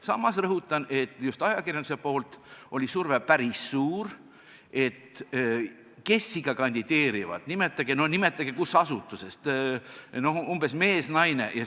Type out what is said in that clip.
Samas rõhutan, et just ajakirjanduse poolt oli surve päris suur, et kes ikka kandideerivad, nimetage, kust asutusest, kas mees või naine.